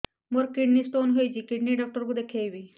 ମୋର kidney stone ହେଇଛି kidney doctor କୁ ଦେଖାଇବି